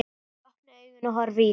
Ég opna augun og horfi í þín.